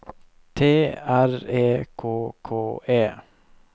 T R E K K E